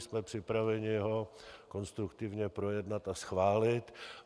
Jsme připraveni ho konstruktivně projednat a schválit.